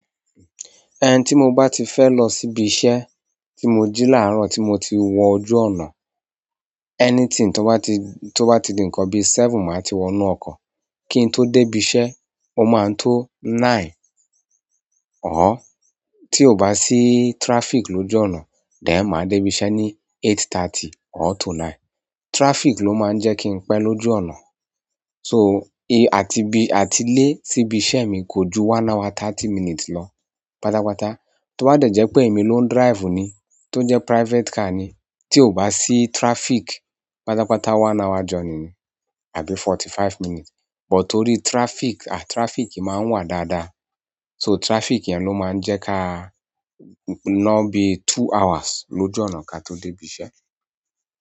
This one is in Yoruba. Ẹn tí mo bá ti fẹ́ lọ síbi iṣẹ́ tí mo jí làárọ̀ tí mo ti wọ ojú ọ̀nà, anything tó bá ti, tó bá ti di nǹkan bí i seven, màá ti wọ inú ọkọ̀ kí n tó dé ibi iṣẹ́, ó máa ń tó nine. Ọ̀ọ́, tí ò bá sí traffic lójú ọ̀nà, then máa dé ibi iṣẹ́ ní eight thirty or to nine. Traffic ló máa ń jẹ́ kí n pẹ́ lójú ọ̀nà. So, è àti bi, àti ilé síbi iṣẹ́ mi kò ju one hour thirty minutes lọ pátápátá. Tó bá dẹ̀ jẹ́ pé èmi ló ń drive ni, tó jẹ́ private car ni, tí ò bá sí traffic, pátápátá one hour journey ni àbí forty five minutes. But tó rí traffic, à traffic máa ń wà dáadáa. So traffic yẹn ló máa ń jẹ́ ká ná bí two hours lójú ọ̀nà kí a tó dé ibi iṣẹ́.